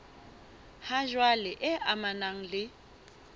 ha jwale e amanang le